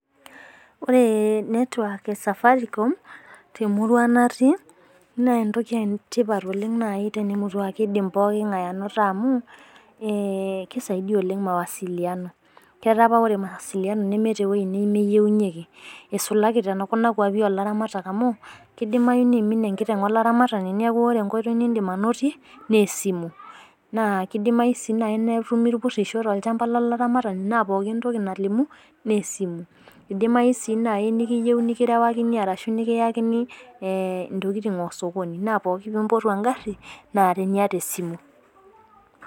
Ore network e safaricom temurua natii naa entoki e tipat oleng tenaa kiedim kila oltungani anoto amu keretisho amu keisaidia mawasilian eisulaki tekuna muruan oo laramatak amu keidimayu neimin enkiteng neeku ore enkoitoi nidim anotie naa esimu, naa kidimayu sii neetumi irpurisho naa esimu naretisho o kulie oitoi kumok naaretisho esimu